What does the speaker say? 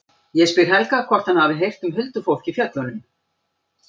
Ég spyr Helga hvort hann hafi heyrt um huldufólk í fjöllunum.